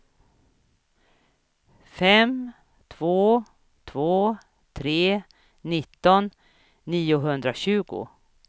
fem två två tre nitton niohundratjugo